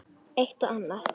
Eitt og annað.